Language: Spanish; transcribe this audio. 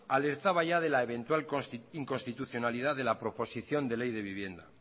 alertaba ya de la eventual inconstitucionalidad de la proposición de ley de vivienda